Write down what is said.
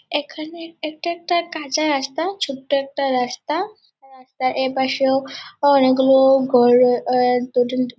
এখানে এটা একটা কাঁচা রাস্তা ছোট্ট একটা রাস্তা রাস্তার এপাশেও অনেকগুলো গো এ ।